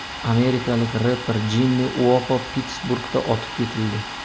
Amerikalik reper Jimmi Uopo Pittsburgda otib ketildi.